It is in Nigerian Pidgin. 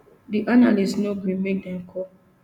di analyst no gree make dem call